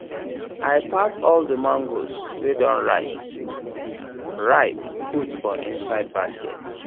i pack all the mangoes wey don ripe ripe put for inside basket